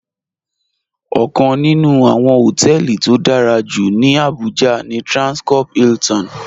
Ọ̀kaǹ nínù awọ́n họ̀tẹlì tó dárà jú ní Abuja ní Transcorp Hilton